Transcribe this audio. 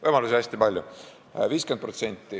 Võimalusi on hästi palju.